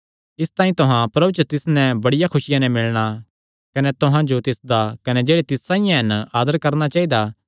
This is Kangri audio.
इसतांई तुहां प्रभु च तिस नैं बड़िया खुसिया नैं मिलणा कने तुहां जो तिसदा कने जेह्ड़े तिस साइआं हन आदर करणा चाइदा